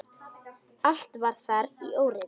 Allt var þar í óreiðu.